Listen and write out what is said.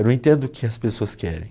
Eu não entendo o que as pessoas querem.